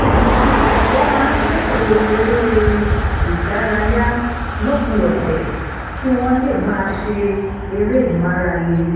wọ́n máa ń ṣètò eré-ìdárayá lópin ọ̀sẹ̀ kí wọ́n lè máa ṣe eré ìmárale